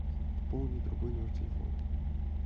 пополнить другой номер телефона